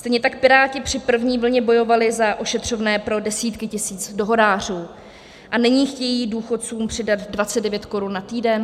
Stejně tak Piráti při první vlně bojovali za ošetřovné pro desítky tisíc dohodářů, a nyní chtějí důchodcům přidat 29 korun na týden?